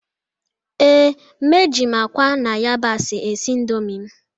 Ee, m eji m akwa na yabasị esi Indomie m